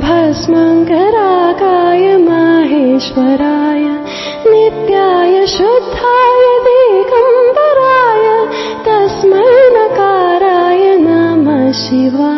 byte 1